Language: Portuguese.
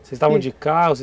Vocês estavam de